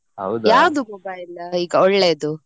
ಯಾವ್ದು mobile ಈಗ ಒಳ್ಳೇಯದು?